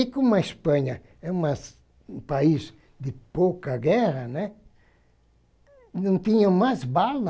E como a Espanha é umas um país de pouca guerra, né, não tinha mais bala,